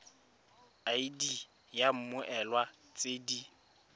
id ya mmoelwa tse di